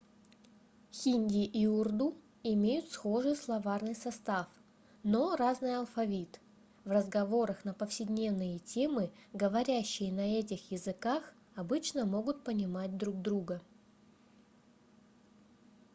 хинди и урду имеют схожий словарный состав но разный алфавит в разговорах на повседневные темы говорящие на этих языках обычно могут понимать друг друга